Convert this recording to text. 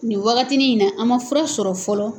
Nin wagatinin in na an man fura sɔrɔ fɔlɔ